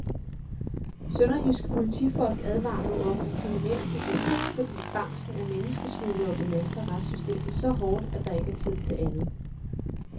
Sønderjyske politifolk advarer nu om, at kriminelle kan gå fri, fordi fangsten af menneskesmuglere belaster retssystemet så hårdt, at der ikke er tid til andet.